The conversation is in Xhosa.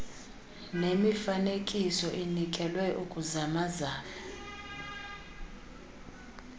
nemifanekiso inikelwe ukuzamazamana